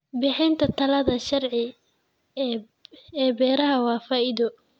Bixinta talada sharci ee beeraha waa faa'iido.